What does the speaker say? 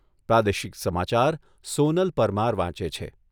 પ્રાદેશિક સમાચાર સોનલ પરમાર વાંચે છે.